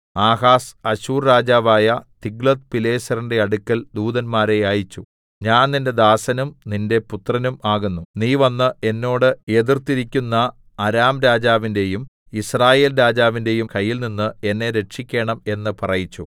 Ahaz Asshur രാജാവായ തിഗ്ലത്ത്പിലേസരിന്റെ അടുക്കൽ ദൂതന്മാരെ അയച്ചു ഞാൻ നിന്റെ ദാസനും നിന്റെ പുത്രനും ആകുന്നു നീ വന്ന് എന്നോട് എതിർത്തിരിക്കുന്ന അരാംരാജാവിന്റെയും യിസ്രായേൽരാജാവിന്റെയും കയ്യിൽനിന്ന് എന്നെ രക്ഷിക്കേണം എന്ന് പറയിച്ചു